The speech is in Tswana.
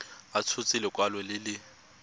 a tshotse lekwalo le le